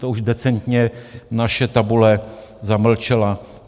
To už decentně naše tabule zamlčela.